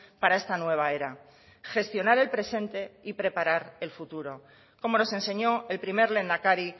para esta nueva era gestionar el presente y preparar el futuro como nos enseñó el primer lehendakari